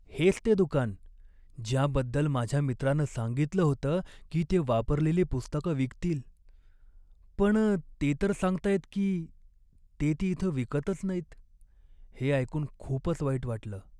हेच ते दुकान, ज्याबद्दल माझ्या मित्रानं सांगितलं होतं की ते वापरलेली पुस्तकं विकतील, पण ते तर सांगतायत की ते ती इथे विकतच नाहीत. हे ऐकून खूपच वाईट वाटलं.